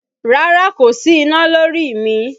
Rárá kò sí iná lórí mi